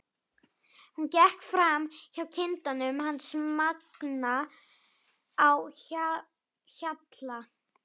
Hún gekk fram hjá kindunum hans Manga á Hjalla.